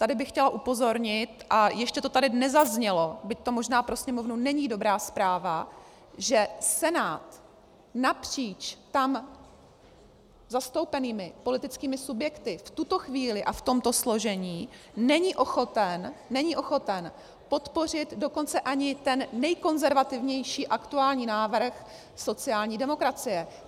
Tady bych chtěla upozornit, a ještě to tady nezaznělo, byť to možná pro Sněmovnu není dobrá zpráva, že Senát napříč tam zastoupenými politickými subjektu v tuto chvíli a v tomto složení není ochoten podpořit dokonce ani ten nejkonzervativnější aktuální návrh sociální demokracie.